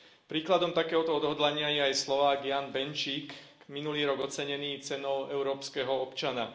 Príkladom takéhoto odhodlania je aj Slovák Ján Benčík, minulý rok ocenený Cenou európskeho občana.